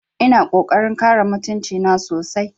Ina ƙoƙarin kare mutunci na sosai